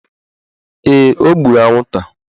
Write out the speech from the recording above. Ee, o gburu anwụnta